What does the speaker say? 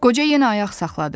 Qoca yenə ayaq saxladı.